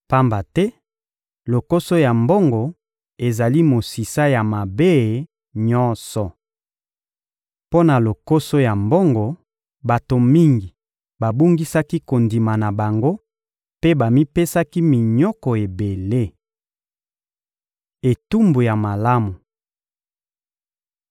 Pamba te lokoso ya mbongo ezali mosisa ya mabe nyonso. Mpo na lokoso ya mbongo, bato mingi babungisaki kondima na bango mpe bamipesaki minyoko ebele. Etumba ya malamu